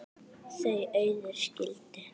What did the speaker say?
Þau Auður skildu.